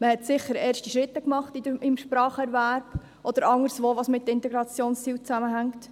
Man hat sicher schon erste Schritte im Spracherwerb erreicht oder anderes, das mit den Integrationszielen zusammenhängt.